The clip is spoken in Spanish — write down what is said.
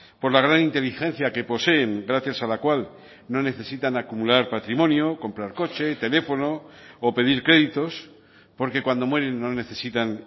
por la gran inteligencia que poseen gracias a la cual no necesitan acumular patrimonio comprar coche teléfono o pedir créditos porque cuando mueren no necesitan